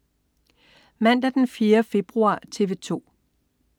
Mandag den 4. februar - TV 2: